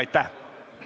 Istungi lõpp kell 10.04.